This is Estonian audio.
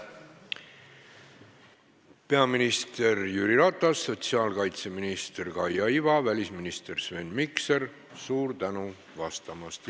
Peaminister Jüri Ratas, sotsiaalkaitseminister Kaia Iva, välisminister Sven Mikser, suur tänu vastamast!